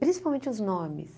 Principalmente os nomes.